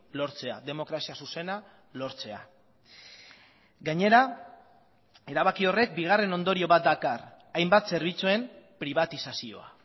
lortzea demokrazia zuzena lortzea gainera erabaki horrek bigarren ondorio bat dakar hainbat zerbitzuen pribatizazioa